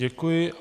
Děkuji.